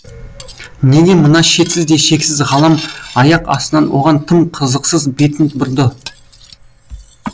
неге мына шетсіз де шексіз ғалам аяқ астынан оған тым қызықсыз бетін бұрды